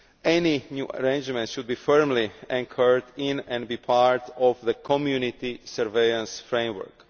Any new arrangements should be firmly anchored in and be part of the Community surveillance framework.